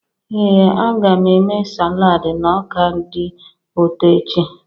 Ee, a ga m eme salad na ọka dị ụtọ echi.